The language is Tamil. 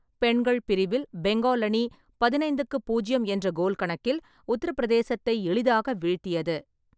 பெண்கள் பிரிவில் பெங்கால் அணி பதினைந்துக்கு பூஜ்ஜியம் என்ற கோல் கணக்கில் உத்தரபிரதேசத்தை எளிதாக வீழ்த்தியது.